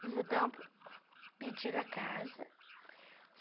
No pedir a casa.